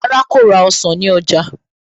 Rárá, kò ra ọsàn ní ọjà